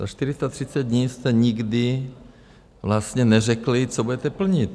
Za 430 dní jste nikdy vlastně neřekli, co budete plnit.